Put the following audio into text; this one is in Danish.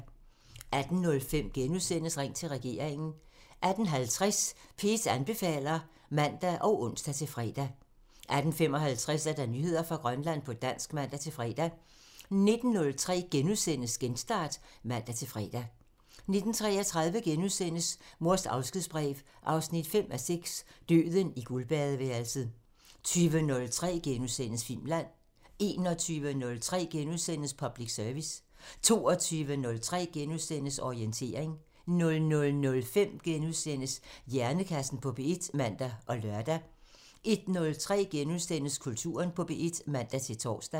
18:05: Ring til regeringen *(man) 18:50: P1 anbefaler (man og ons-fre) 18:55: Nyheder fra Grønland på dansk (man-fre) 19:03: Genstart *(man-fre) 19:33: Mors afskedsbrev 5:6 – Døden i guldbadeværelset * 20:03: Filmland *(man) 21:03: Public Service *(man) 22:03: Orientering *(man-fre) 00:05: Hjernekassen på P1 *(man og lør) 01:03: Kulturen på P1 *(man-tor)